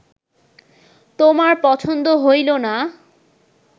তোমার পছন্দ হইল না